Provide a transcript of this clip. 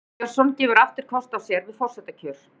Sveinn Björnsson gefur aftur kost á sér við forsetakjör